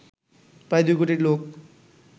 প্রায় দুই কোটি লোক